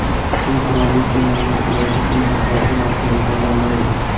Tuxum qirolicha menyusidagi eng asosiy mahsulotlardan biridir.